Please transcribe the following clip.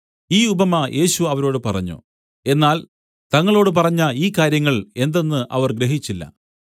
ഈ ഉപമ യേശു അവരോട് പറഞ്ഞു എന്നാൽ തങ്ങളോട് പറഞ്ഞ ഈ കാര്യങ്ങൾ എന്തെന്ന് അവർ ഗ്രഹിച്ചില്ല